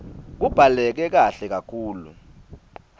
kubhaleke kahle kakhulu